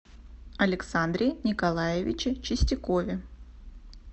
александре николаевиче чистякове